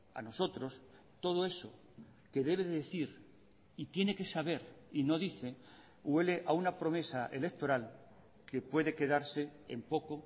a nosotros todo eso que debe decir y tiene que saber y no dice huele a una promesa electoral que puede quedarse en poco